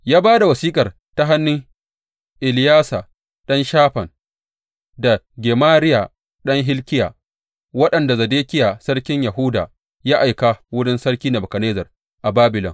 Ya ba da wasiƙar ta hannun Eleyasa ɗan Shafan da Gemariya ɗan Hilkiya, waɗanda Zedekiya sarkin Yahuda ya aika wurin Sarki Nebukadnezzar a Babilon.